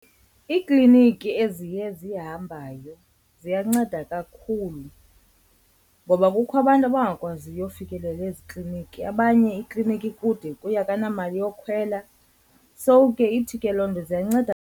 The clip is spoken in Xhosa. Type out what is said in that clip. Iikliniki eziye zihambayo ziyanceda kakhulu ngoba kukho abantu abangakwaziyo uyofikelela ezikliniki, abanye ikliniki kude kuye akanamali yokhwela. So ke ithi ke loo nto ziyanceda.